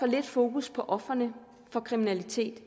lidt fokus på ofrene for kriminalitet